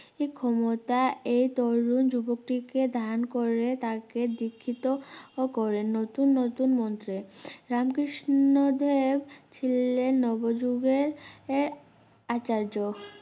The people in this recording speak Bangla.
ক্ষমতা এর তরুণ যুবকটিকে দান করলে তাকে দীক্ষিতও করলেন নতুন নতুন মন্ত্রে রামকৃষ্ণদেব ছিলেন নবযুগের~এর আচার্য